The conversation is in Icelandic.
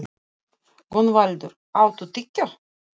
Gunnvaldur, áttu tyggjó?